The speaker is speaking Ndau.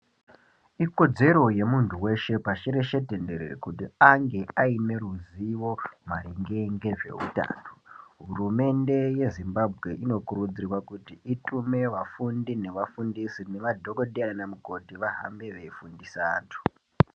Ikodzero ye muntu weshe pashi reshe tenderere kuti ange aine ruzivo maringe nge zveutano hurumende ye Zimbabwe inokurudzirwa kuti itume vafundi neva fundisi ne madhokodheya nana mukoti vahambe vei fundisa antu.